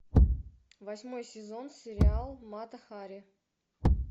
восьмой сезон сериал мата хари